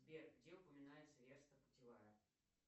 сбер где упоминается верста путевая